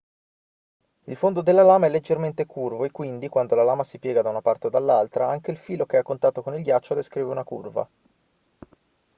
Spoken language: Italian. il fondo della lama è leggermente curvo e quindi quando la lama si piega da una parte o dall'altra anche il filo che è a contatto con il ghiaccio descrive una curva